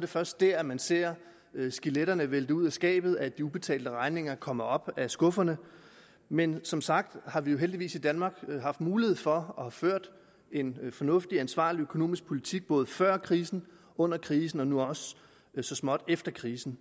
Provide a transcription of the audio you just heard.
det først da man ser skeletterne vælte ud af skabet og de ubetalte regninger komme op af skufferne men som sagt har vi heldigvis i danmark haft mulighed for og har ført en fornuftig ansvarlig økonomisk politik både før krisen under krisen og nu også så småt efter krisen